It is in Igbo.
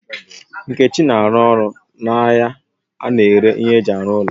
Nkechi na aru oru na ahia a na-ere ihe eji aru ulo